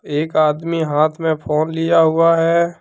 एक आदमी हाथ में फोन लिया हुआ है।